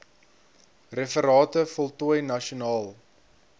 referate voltooi nasionaal